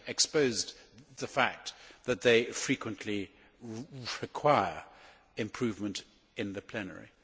exposed the fact that they frequently require improvement in the plenary.